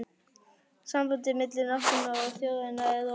Sambandið milli náttúrunnar og þjóðarinnar er rofið